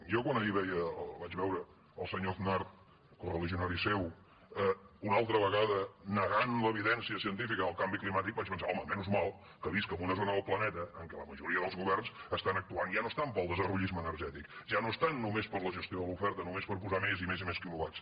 jo quan ahir veia vaig veure el senyor aznar correligionari seu una altra vegada negant l’evidència científica del canvi climàtic vaig pensar home sort que visc en una zona del planeta en què la majoria dels governs estan actuant i ja no estan pel desarrollisme energètic ja no estan només per la gestió de l’oferta només per posar més i més quilowatts